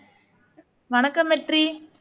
வணக்கம் வெற்றி